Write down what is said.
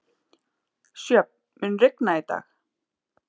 Sjöfn, mun rigna í dag?